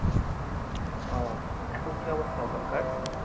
উহ এখন কি অবস্থা ওখান কার